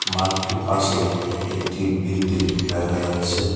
মাঠটির পাশেই একটি বিল্ডিং দেখা যাচ্ছে।